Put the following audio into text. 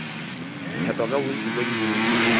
phethwa ka bontši bja dibouto